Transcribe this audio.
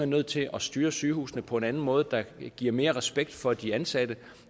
nødt til at styre sygehusene på en anden måde der giver mere respekt for de ansatte